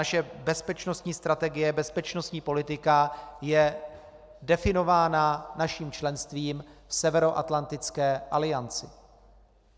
Naše bezpečnostní strategie, bezpečnostní politika je definována naším členstvím v Severoatlantické alianci.